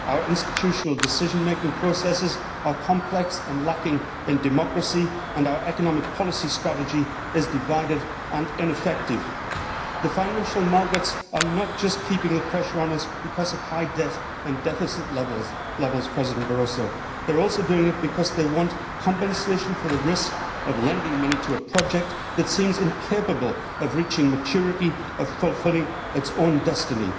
Our institutional decision making processes are complex and lacking in democracy, and our economic policy strategy is divided and ineffective. The financial markets are not keeping the pressure on us just because of high debt and deficit levels, President Barroso they are also doing so because they want compensation for the risk of lending money to a project that seems incapable of reaching maturity or fulfilling its own destiny.